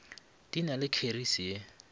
di na le kheri ye